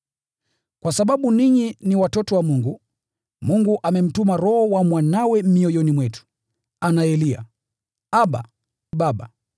Kwa sababu ninyi ni watoto wa Mungu, Mungu amemtuma Roho wa Mwanawe mioyoni mwetu, anayelia, “Abba, Baba.”